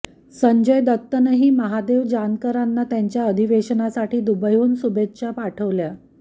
संजय दत्तनंही महादेव जानकरांना त्यांच्या अधिवेशनासाठी दुबईहून शुभेच्छा पाठवल्या